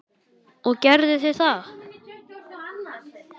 Og gerðu þið það?